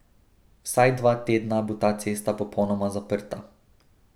Vsaj dva tedna bo ta cesta popolnoma zaprta.